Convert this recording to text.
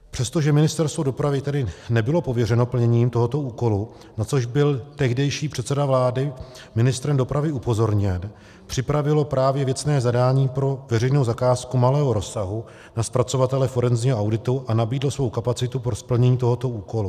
Přestože Ministerstvo dopravy tady nebylo pověřeno plněním tohoto úkolu, na což byl tehdejší předseda vlády ministrem dopravy upozorněn, připravilo právě věcné zadání pro veřejnou zakázku malého rozsahu na zpracovatele forenzního auditu a nabídlo svou kapacitu pro splnění tohoto úkolu.